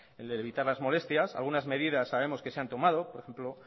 el de evitar las molestias algunas medidas sabemos que se han tomado por ejemplo